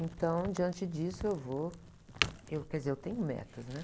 Então, diante disso, eu vou... Eu, quer dizer, eu tenho metas, né?